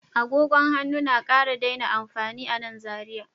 Agogon hannu na ƙara daina amfani a nan Zariya